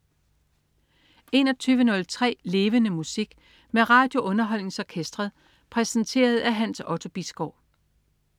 21.03 Levende Musik. Med RadioUnderholdningsOrkestret. Præsenteret af Hans Otto Bisgaard